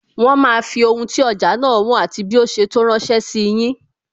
Wọn máa fi ohun tí ọjà náà wọn, àti bí ó ṣe tó ránsẹ́ sí yin